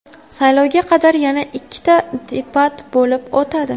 Saylovga qadar yana ikkita debat bo‘lib o‘tadi.